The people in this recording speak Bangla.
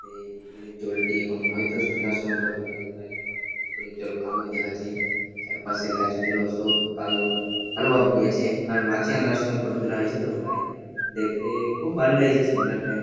তো এই পুকুরের জলটি এখন ঐতো সন্ধ্যার সময় ফটো তোলা হয়েছে তাই জন্য পুকুরের জল কালোই দেখাচ্ছে যার পাশে গাছ গুলো সব কালো কালো ভাব হইয়াছে কারণ আনার সময় ফটো তোলা হয়েছে তো তাই দেখতে খুব ভাল্লাগছে সন্ধ্যার টাইম ।